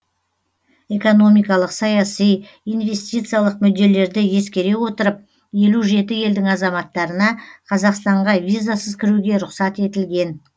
экономикалық саяси инвестициялық мүдделерді ескере отырып елу жеті елдің азаматтарына қазақстанға визасыз кіруге рұқсат етілген